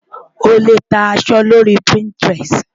O lè ta aṣọ lórí Pinterest.